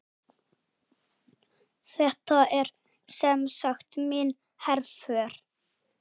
Þetta er semsagt mín herför.